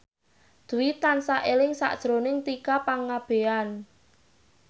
Dwi tansah eling sakjroning Tika Pangabean